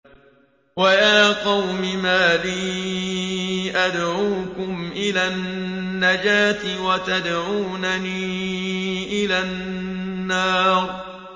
۞ وَيَا قَوْمِ مَا لِي أَدْعُوكُمْ إِلَى النَّجَاةِ وَتَدْعُونَنِي إِلَى النَّارِ